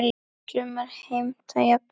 Sumir heimta jafnvel